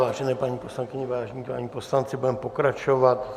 Vážené paní poslankyně, vážení páni poslanci, budeme pokračovat.